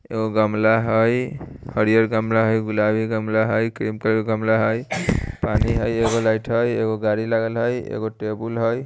एगो गमला हई हरियर गमला हई गुलाबी गमला हई क्रीम कलर के गमला हई पानी हई एगो लाइट हई एगो गाड़ी लागल हई एगो टेबुल हई।